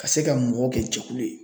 Ka se ka mɔgɔw kɛ jɛkulu ye.